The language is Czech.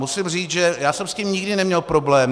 Musím říct, že já jsem s tím nikdy neměl problém.